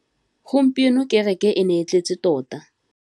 Gompieno kêrêkê e ne e tletse tota.